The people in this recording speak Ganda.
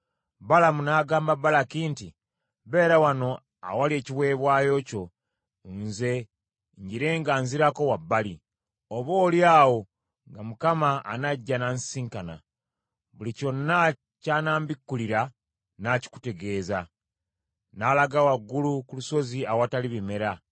Balamu n’agamba Balaki nti, “Beera wano awali ekiweebwayo kyo nze njire nga nzirako wabbali. Oboolyawo nga Mukama anajja n’ansisinkana. Buli kyonna ky’anambikkulira nnaakikutegeeza.” N’alaga waggulu ku lusozi awatali bimera.